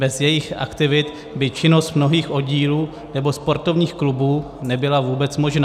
Bez jejich aktivit by činnost mnohých oddílů nebo sportovních klubů nebyla vůbec možná.